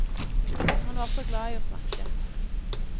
Han var så glad i å snakke.